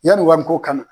Yanni wariko kama